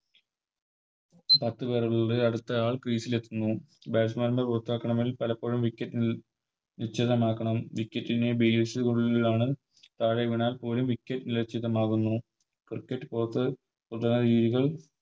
കൊണ്ട് അടുത്തയാൾ Crease ൽ എത്തുന്നു Batsman നെ പുറത്താക്കണമെങ്കിൽ പലപ്പോഴും Wicket നീ നിശ്ചിതമാക്കണം Wicket നെ Base നുള്ളിലാണ് താഴെ വീണാൽ പോലും Wicket നിലച്ചിതമാകുന്നു Cricket പുറത്ത്